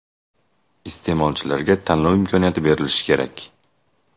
Iste’molchilarga tanlov imkoniyati berilishi kerak.